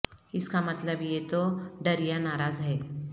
اس کا مطلب یہ تو ڈر یا ناراض ہے